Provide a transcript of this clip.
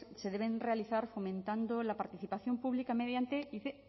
se deben realizar fomentando la participación pública mediante dice